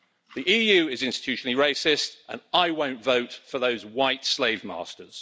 The EU is institutionally racist and I won't vote for those white slave masters.